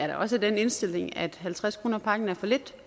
da også den indstilling at halvtreds kroner per pakke er for lidt